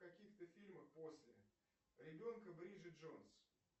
в каких то фильмах после ребенка бриджит джонс